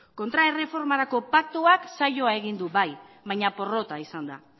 kontraerreformarako paktuak saioa egin du bai baina porrota izan da